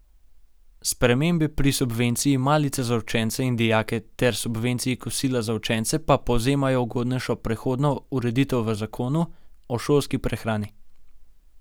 Spremembe pri subvenciji malice za učence in dijake ter subvenciji kosila za učence pa povzemajo ugodnejšo prehodno ureditev v zakonu o šolski prehrani.